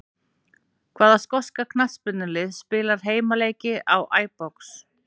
Hvaða skoska knattspyrnulið spilar heimaleiki á Æbrox?